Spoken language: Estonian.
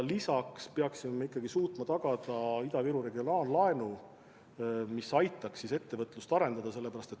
Lisaks peaksime suutma tagada Ida-Virumaa regionaallaenu, mis aitaks ettevõtlust arendada.